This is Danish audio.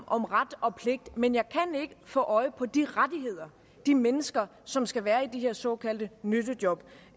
om ret og pligt men jeg kan ikke få øje på de rettigheder de mennesker som skal være i de her såkaldte nyttejob